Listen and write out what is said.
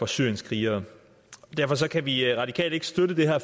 syrienskrigere derfor kan vi radikale ikke støtte det her